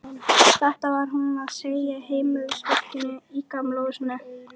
Þetta var hún að segja heimilisfólkinu í Gamla húsinu.